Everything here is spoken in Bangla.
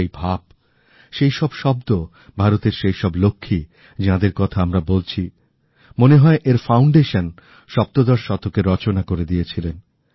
সেই ভাব সেই সবশব্দ ভারতের সেইসব লক্ষ্মী যাঁদের কথা আমরা বলছি মনে হয় এর ভিত সপ্তদশ শতকেরচনা করে দিয়েছিলেন